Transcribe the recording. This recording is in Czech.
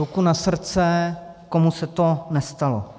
Ruku na srdce, komu se to nestalo.